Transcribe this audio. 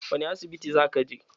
Wani asibiti za ka je?